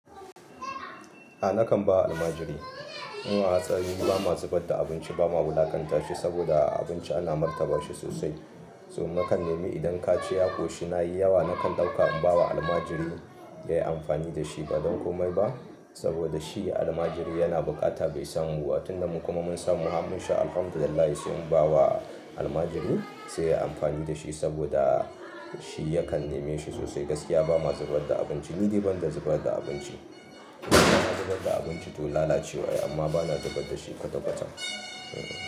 A nakan ba almajiri. Mu a asali ba ma zu badda abinci ba ma wulakanta shi saboda abinci ana martaba shi sosai. So nakan nemi idan ka ci ya koshi na yi yawa, nakan ɗauka in ba wa almajirin ya yi amfani da shi ba don komai ba. Saboda shi almajirin yana bukata bai san mu ba. Tun da mu kuma mun samu ham mun sha Alhamdulillah sai mun ba wa almajiri sai yi amfani da shi saboda shi yakan neme shi sosai. Gaskiya ba ma zubar da abinci, ni dai ban da zubar da abinci. Na zubar da abinci to lalacewa ya yi amma ba na zubar da shi kwata kwata.